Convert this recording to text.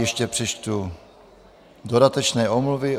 Ještě přečtu dodatečné omluvy.